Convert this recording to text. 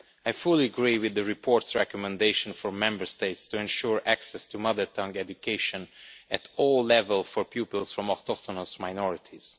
I fully agree with the report's recommendation for Member States to ensure access to mother tongue education at all levels for pupils from autochthonous minorities.